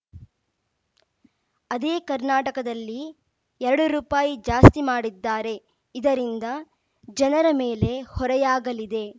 ಅದೇ ಕರ್ನಾಟಕದಲ್ಲಿ ಎರಡು ರುಪಾಯಿ ಜಾಸ್ತಿ ಮಾಡಿದ್ದಾರೆ ಇದರಿಂದ ಜನರ ಮೇಲೆ ಹೊರೆಯಾಗಲಿದೆ